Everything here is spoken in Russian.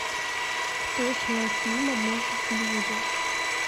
кто снял фильм однажды в голливуде